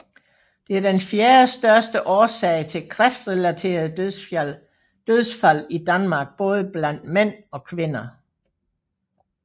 Det er den fjerdestørste årsag til kræftrelaterede dødsfald i Danmark både blandt mænd og kvinder